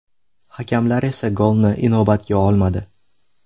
Hakamlar esa golni inobatga olmadi.